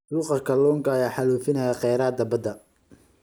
Suuqa kalluunka ayaa xaalufinaya kheyraadka badda.